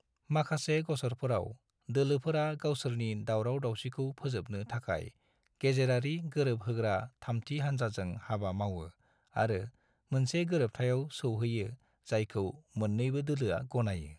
माखासे गसरफोराव, दोलोफोरा गावसोरनि दावराव-दावसिखौ फोजोबनो थाखाय गेजेरारि गोरोबहोग्रा थामथि हानजाजों हाबा मावो आरो मोनसे गोरोब्थायाव सौहैयो जायखौ मोन्नैबो दोलोया गनायो।